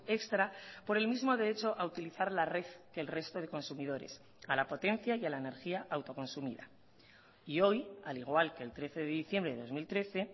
extra por el mismo derecho a utilizar la red que el resto de consumidores a la potencia y a la energía autoconsumida y hoy al igual que el trece de diciembre de dos mil trece